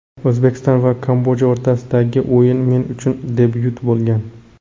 O‘zbekiston va Kamboja o‘rtasidagi o‘yin men uchun debyut bo‘lgan.